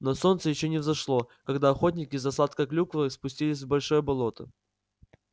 но солнце ещё не взошло когда охотники за сладкой клюквой спустились в большое болото